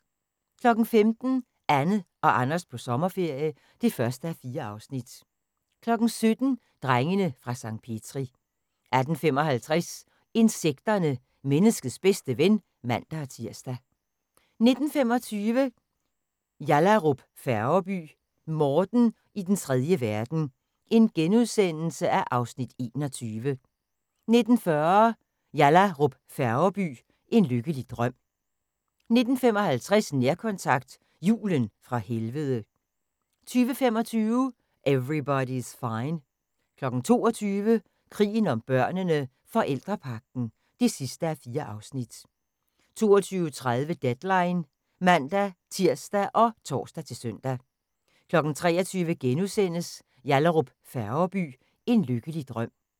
15:00: Anne og Anders på sommerferie (1:4) 17:00: Drengene fra Sankt Petri 18:55: Insekterne – menneskets bedste ven (man-tir) 19:25: Yallahrup Færgeby: Morten i den trejde verden (Afs. 21)* 19:40: Yallahrup Færgeby: En lykkelig drøm 19:55: Nærkontakt – Julen fra helvede 20:25: Everybody's Fine 22:00: Krigen om børnene: Forældrepagten (4:4) 22:30: Deadline (man-tir og tor-søn) 23:00: Yallahrup Færgeby: En lykkelig drøm *